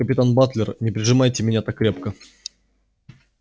капитан батлер не прижимайте меня так крепко